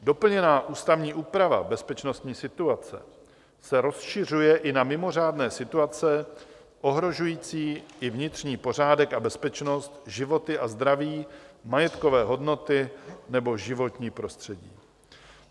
Doplněná ústavní úprava bezpečností situace se rozšiřuje i na mimořádné situace ohrožující i vnitřní pořádek a bezpečnost, životy a zdraví, majetkové hodnoty nebo životní prostředí.